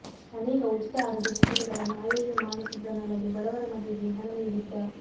ಅನೇಕ ಉಚಿತ ಆರೋಗ್ಯ ಶಿಬಿರಗಳನ್ನು ಆಯೋಜನೆ ಮಾಡುತ್ತಿದ್ದನಲ್ಲದೆ ಬಡವರ ಮದುವೆಗೆ ಹಣ ನೀಡಿದ್ದ